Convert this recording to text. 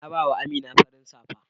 na ba wa Amina farin safan.